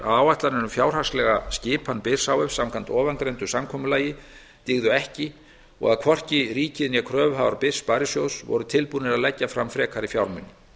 um fjárhagslega skipan byrs h f samkvæmt ofangreindu samkomulagi dygðu ekki og að hvorki ríkið né kröfuhafar byrs sparisjóðs voru tilbúnir að leggja fram frekari fjármuni